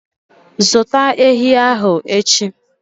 Zụta ehi ahụ echi!